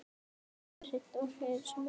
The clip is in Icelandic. Kjartan Hreinn: Og ertu sammála?